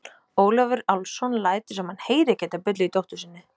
Ólafur Álfsson lætur sem hann heyri ekki þetta bull í dóttur sinni.